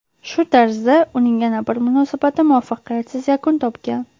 Shu tarzda uning yana bir munosabati muvaffaqiyatsiz yakun topgan.